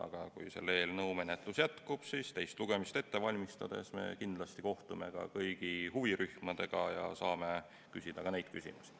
Aga kui selle eelnõu menetlus jätkub, siis teist lugemist ette valmistades me kindlasti kohtume kõigi huvirühmadega ja saame küsida ka neid küsimusi.